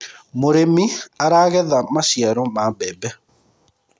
mũrĩmi aragetha maciaro ma mbembe